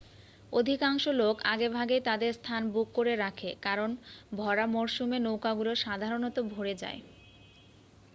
অধিকাংশ লোক আগেভাগেই তাদের স্থান বুক করে রাখে কারণ ভরা মরশুমে নৌকাগুলো সাধারণত ভরে যায়।